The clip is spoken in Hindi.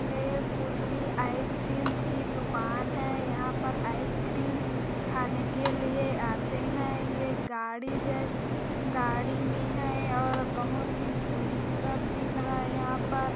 एक कुल्फी आइस क्रीम की दुकान है यहाँ पर आइस क्रीम खाने के लिए आते है ये गाड़ी जैस गाड़ी में है और बहुत ही सुंदर दिख रहा है यहाँ पर--